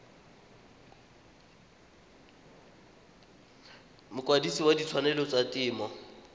mokwadise wa ditshwanelo tsa temo